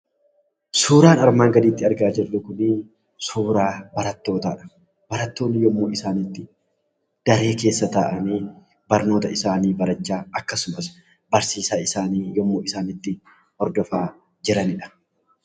Suuraan armaan gaditti argaa jirru kun, suuraa barattootaadha. Barattoonni yommuu isaan itti daree keessa taa'anii barnoota isaanii barachaa, akkasumas barsiisaa isaanii yommuu isaan itti hordofanidha.